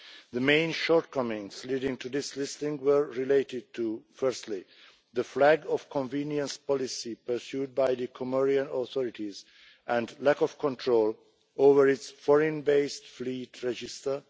The main shortcomings leading to this listing were related to, firstly, the flag of convenience policy pursued by the Comorian authorities and lack of control over its foreign based fleet register